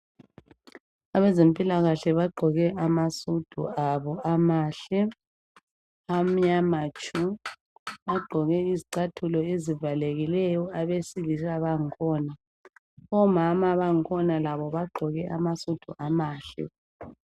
Abezempilakahle bagqoke amasudu abo amahle amnyama tshu bagqoke izicathulo ezivalekileyo abesilisa bakhona, omama bakhona bagqoke amasudu amahle.